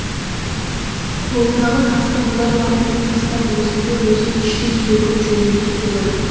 қолымдағы тасты былай лақтырып тастап өзімді іштей сөгіп жөніме кете бардым